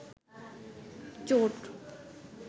চোট